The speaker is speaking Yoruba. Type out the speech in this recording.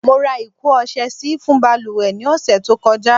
Mo ra iko ọ̀sẹ̀ sì fún baluwe ni ose tí ó kọjá